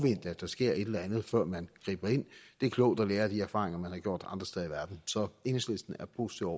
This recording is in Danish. at der sker et eller andet før man griber ind det er klogt at lære af de erfaringer man har gjort andre steder i verden så enhedslisten er positive